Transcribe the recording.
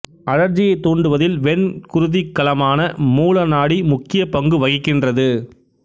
அழற்சியைத் தூண்டுவதில் வெண் குருதிக்கலமான மூலநாடி முக்கிய பங்கு வகிக்கின்றது